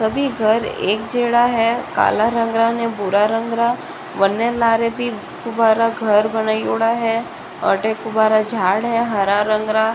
सभी घर एक जेडा है काला रंग रा न भूरा रंग रा बने लारे भी दुबारा घर बनाएडा है अठे कुबारा झाड़ है हरा रंग रा।